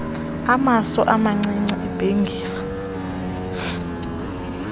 amaso amacici ibhengile